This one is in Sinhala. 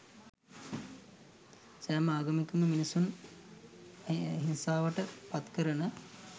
සෑම ආගමකින්ම මිනිසුන් හිංසාවට පත්කරන